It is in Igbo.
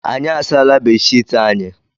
Anyị asaala bedshiiti anyị.